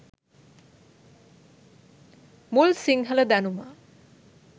මුල් සිංහල දැනුම